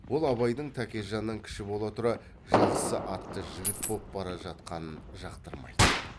ол абайдың тәкежаннан кіші бола тұра жақсы атты жігіт боп бара жатқанын жақтырмайды